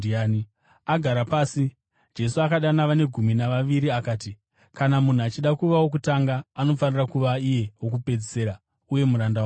Agara pasi, Jesu akadana vane gumi navaviri akati, “Kana munhu achida kuva wokutanga, anofanira kuva iye wokupedzisira, uye muranda wavose.”